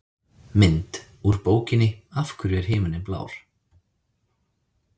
Mynd: Úr bókinni Af hverju er himinninn blár?